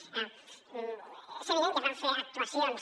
clar és evident que s’hi van fer actuacions